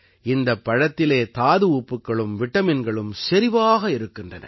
இந்தப் பழத்திலே தாது உப்புக்களும் விட்டமின்களும் செறிவாக இருக்கின்றன